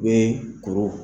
We koro.